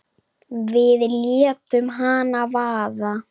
Við létum hana vaða.